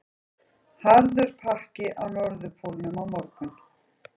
Harður pakki á Norðurpólnum á morgun